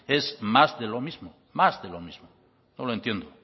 es más de lo mismo más de lo mismo no lo entiendo